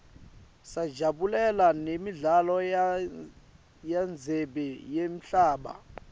sajabulela nemidlalo yendzebe yemhlaba